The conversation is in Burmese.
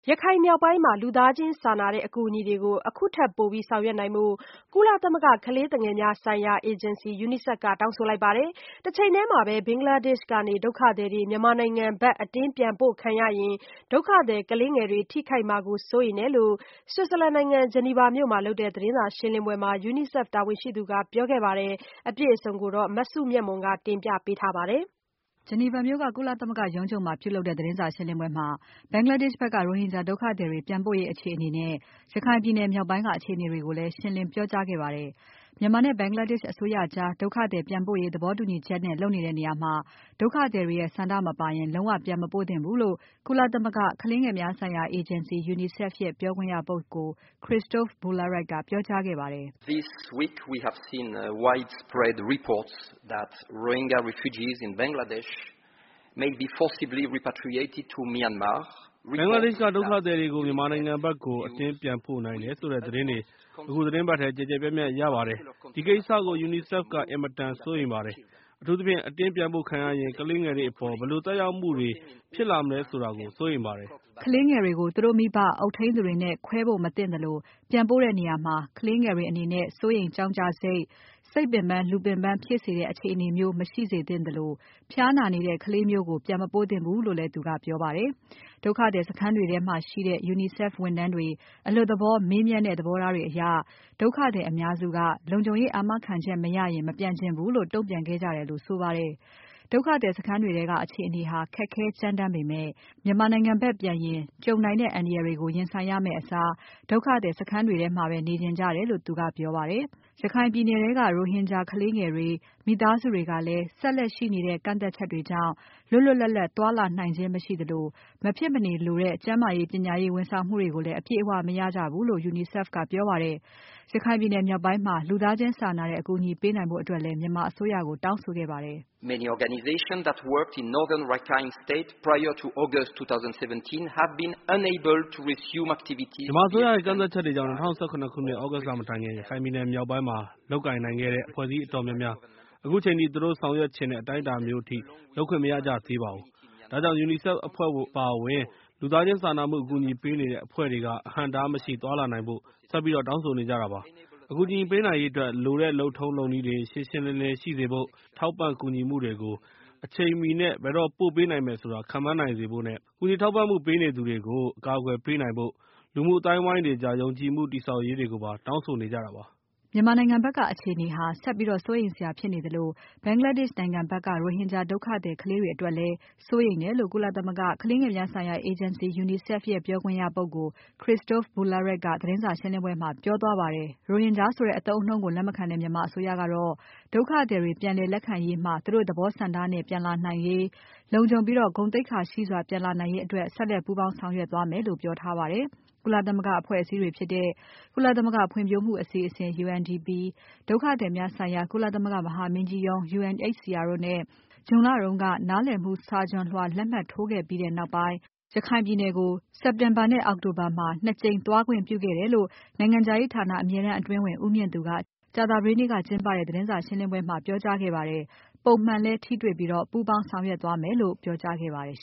ရခိုင်မြောက်ပိုင်းမှာ လူသားချင်းစာနာတဲ့ အကူအညီတွေကို အခုထက်ပိုပြီးဆောင်ရွက်နိုင်ဖို့ ကုလသမဂ္ဂ ကလေးငယ်များဆိုင်ရာ အေဂျင်စီ UNICEF ကတောင်းဆိုလိုက်ပါတယ်။ တချိန်ထဲမှာ ဘင်္ဂလားဒေ့ရှ် ကနေ ဒုက္ခသည်တွေ မြန်မာနိုင်ငံဖက် အတင်းပြန်ပို့ခံရရင် ဒုက္ခသည်ကလေးငယ်တွေ ထိခိုက်မှာကို စိုးရိမ်တယ်လို့ Switzerland နိုင်ငံ Geneva မြို့မှာလုပ်တဲ့သတင်းစာရှင်းလင်းပွဲမှာ UNICEF တာဝန်ရှိသူက ပြောခဲ့ပါတယ်။ အပြည့်အစုံကို မစုမြတ်မွန်က ဆက်ပြီးတင်ပြပါမယ်။ ဒီကနေ့ Geneva မြို့က ကုလသမဂ္ဂရုံးချုပ်မှာပြုလုပ်တဲ့ သတင်းစာရှင်းပွဲမှာ Bangladesh ဖက်က ရိုဟင်ဂျာ ဒုက္ခသည်တွေ ပြန်ပို့ရေးအခြေအနေနဲ့ ရခိုင်ပြည်နယ်မြောက်ပိုင်းက အခြေအနေတွေကိုလည်း ရှင်းလင်းပြောခဲ့ပါတယ်။ မြန်မာနဲ့ Bangladesh အစိုးရကြား ဒုက္ခသည်ပြန်ပို့ရေး သဘောတူညီချက်နဲ့ လုပ်နေတဲ့နေရာမှာ ဒုက္ခသည်တွေရဲ့ ဆန္ဒမပါရင် လုံးဝပြန်မပို့သင့်ဘူးလို့ ကုလသမဂ္ဂကလေးငယ်များဆိုင်ရာ အေဂျင်စီ UNICEF ရဲ့ ပြောခွင့်ရပုဂ္ဂိုလ် Christophe Boulierac ကပြောကြားခဲ့ပါတယ်။ " ဘင်္ဂလားဒေ့ရှ် ကဒုက္ခသည်တွေကို မြန်မာနိုင်ငံဖက်ကို အတင်းပြန်ပို့နိုင်တယ်ဆိုတဲ့သတင်းတွေ အခုသီတင်းပါတ်ထဲ ကျယ်ကျယ်ပြန့်ပြန့်ရပါတယ်။ ဒီကိစ္စကို UNICEF ကအင်မတန်စိုးရိမ်ပါတယ်။ အထူးသဖြင့် အတင်းပြန်ပို့ခံရရင် ကလေးငယ်တွေအပေါ် ဘယ်လိုသက်ရောက်မှုတွေ ဖြစ်လာမလဲဆိုတာကို စိုးရိမ်ပါတယ်။" ကလေးငယ်တွေကို သူတို့မိဘ အုပ်ထိန်းသူတွေနဲ့ ခွဲဖို့မသင့်သလို၊ ပြန်ပို့တဲ့နေရာမှာ ကလေးငယ်တွေအနေနဲ့ စိုးရိမ်ကြောင့်ကြစိတ်၊ စိတ်ပင်ပန်း လူပင်ပန်းဖြစ်စေနဲ့ အခြေအနေမျိုး မရှိစေသင့်သလို ဖျားနာနေတဲ့ကလေးမျိုးကို ပြန်မပို့သင့်ဘူးလို့လည်း သူကပြောပါတယ်။ ဒုက္ခသည်စခန်းတွေထဲမှာရှိတဲ့ UNICEF ဝန်ထမ်းတွေ အလွတ်သဘော မေးမြန်းတဲ့ သဘောထားတွေအရ ဒုက္ခသည်အများစုက လုံခြုံရေးအာမခံချက်မရရင် မပြန်ချင်ဘူးလို့ တုံ့ပြန်ခဲ့ကြတယ်လို့ဆိုပါတယ်။ ဒုက္ခသည်စခန်းတွေထဲက အခြေအနေဟာ ခက်ခဲကြမ်းတမ်းပေမဲ့ မြန်ာမာနိုင်ငံဖက်ပြန်ရင် ကြုံနိုင်တဲ့ အန္တရာယ်တွေကို ရင်ဆိုင်ရမယ့်အစား ဒုက္ခသည်စခန်းတွေထဲမှာပဲ နေချင်ကြတယ်လို့ သူကပြောပါတယ်။ ရခိုင်ပြည်နယ်ထဲမှာရှိနေတဲ့ ရိုဟင်ဂျာကလေးငယ်တွေ၊ မိသားစုတွေကလည်း ဆက်လက်ရှိနေတဲ့ ကန့်သတ်ချက်တွေကြောင့် လွတ်လွတ်လပ်လပ် သွားလာနိုင်ခြင်းမရှိသလို မဖြစ်မနေလိုတဲ့ ကျန်းမာရေး ပညာရေး ဝန်ဆောင်မှုတွေကိုလည်း အပြည့်အဝမရကြဘူးလို့ UNICEF ကပြောပါတယ်။ ရခိုင်ပြည်နယ်မြောက်ပိုင်းမှာ လူသားချင်းစာနာတဲ့ အကူအညီပေးနိုင်ဖို့အတွက်လည်း မြန်မာအစိုးရက တောင်းဆိုခဲ့ပါတယ်။ "မြန်မာအစိုးရရဲ့ ကန့်သတ်ချက်တွေကြောင့် ၂၀၁၇ ခုနှစ် သြဂုတ်လ လမတိုင်ခင်က ရခိုင်ပြည်နယ်မြောက်ပိုင်းမှာ လုပ်ကိုင်နိုင်ခဲ့တဲ့ အဖွဲ့အစည်းတော်တော်များများ အခုချိန်ထိ သူတို့ ဆောင်ရွက်ချင်တဲ့ အတိုင်းအတာမျိုးအထိ လုပ်ခွင့်မရကြသေးပါဘူး။ ဒါကြောင့် UNICEF အဖွဲ့အပါအဝင် လူသားချင်းစာနာမှုအကူအညီပေးနေတဲ့ အဖွဲ့တွေက အဟန့်အတားမရှိသွားလာနိုင်ဖို့ ဆက်ပြီးတောင်းဆိုနေကြတာပါ။ အကူအညီပေးနိုင်ရေးအတွက် လိုတဲ့လုပ်ထုံးလုပ်နည်းတွေ ရှင်းရှင်းလင်းလင်းရှိစေဖို့၊ ထောက်ပံ့ကူညီမှုတွေကို အချိန်မှီနဲ့ ဘယ်တော့ပို့ပေးနိုင်မယ်ဆိုတာ ခန့်မှန်းနိုင်စေဖို့နဲ့ ကူညီထောက်ပံ့မှုပေးနေသူတွေကို အကာအကွယ်ပေးနိုင်ဖို၊ လူမှုအသိုင်းအဝိုင်းတွေကြား ယုံကြည်မှုတည်ဆောက်ရေးတွေကို တောင်းဆိုနေကြတာပါ။“ မြန်မာနိုင်ငံဖက်က အခြေအနေဟာ ဆက်ပြီးစိုးရိမ်စရာဖြစ်နေသလို၊ Bangladesh နိုင်ငံဖက်က ရိုဟင်ဂျာ ဒုက္ခသည်ကလေးတွေအတွက်လည်း စိုးရိမ်တယ်လို့ ကုလသမဂ္ဂကလေးငယ်များဆိုင်ရာ အေဂျင်စီ UNICEF ရဲ့ ပြောခွင့်ရပုဂ္ဂိုလ် Christophe Boulierac ကသတင်းစာရှင်းပွဲမှာ ပြောသွားပါတယ်။ ရိုဟင်ဂျာဆိုတဲ့ အသုံးအနှုန်းကို လက်မခံတဲ့မြန်မာအစိုးရကတော့ ဒုက္ခသည်တွေပြန်လည်လက်ခံရေးမှာ သူတို့သဘောဆန္ဒနဲ့ပြန်လာနိုင်ရေး၊ လုံခြုံပြီး ဂုဏ်သိက္ခာရှိစွာပြန်လာနိုင်ရေးအတွက် ဆက်လက်ပူးပေါင်းဆောင်ရွက်သွားမယ်လို့ ပြောထားပါတယ်။ ကုလသမဂ္ဂအဖွ့ဲအစည်းတွေဖြစ်တဲ့ ကုလသမဂ္ဂဖွံ့ဖြိုးမှုအစီအစဉ် UNDP ဒုက္ခသည်များဆိုင်ရာ ကုလသမဂ္ဂမဟာမင်းကြီးရုံး UNHCR တို့နဲ့ ဇွန်လတုန်းက နားလည်မှု စာချွန်လွှာလက်မှတ်ထိုးခဲ့ပြီးနောက်ပိုင်း ရခိုင်ပြည်နယ်ကို စက်တင်ဘာနဲ့ အောက်တိုဘာမှာ ၂ ကြိမ်သွားခွင့်ပြုခဲ့တယ်လို့ နိုင်ငံခြားရေးဌာန အမြဲတမ်းအတွင်းဝန် ဦးမြင့်သူက ကြာသပတေးနေ့ကကျင်းပတဲ့ သတင်းစာရှင်းပွဲမှာ ပြောကြားခဲ့ပါတယ်။ ပုံမှန်လည်း ထိတွေ့ပြီး ပူးပေါင်းဆောင်ရွက်သွားမယ်လို့ ပြောကြားခဲ့ပါတယ်